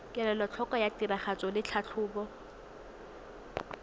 kelotlhoko ya tiragatso le tlhatlhobo